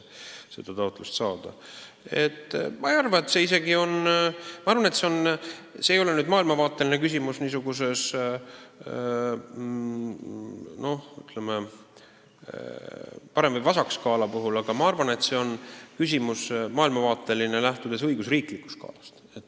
Ma arvan, et see ei ole maailmavaateline küsimus parem- või vasakskaala mõttes, see on maailmavaateline küsimus, lähtudes õigusriigi skaalast.